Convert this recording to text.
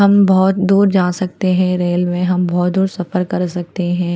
हम बहुत दूर जा सकते है रेल्वे हम बहुत दूर सफर कर सकते है।